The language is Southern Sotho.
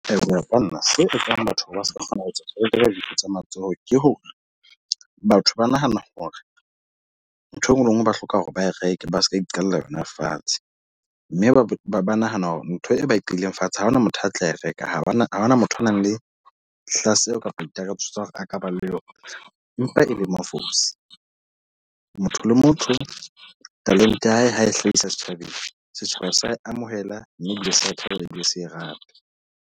Eya ho ya ka nna se etsang batho hore ba seka kgona ho reka dintho tsa matsoho. Ke hore batho ba nahana hore ntho e nngwe le e nngwe ba hloka hore ba reke, ba seka iqalla yona fatshe. Mme ba nahana hore ntho e ba e qadileng fatshe, a hona motho a tla e reka. Ha hona motho a nang le hlaseho kapa ditakatso tsa hore a ka ba le yona. Empa e le mafosi. Motho le motho talente ya hae ha e hlahisa setjhabeng. Setjhaba sa e amohela, mme ebile se ya thabela ebile se rate.